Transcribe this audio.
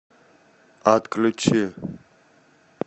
отключи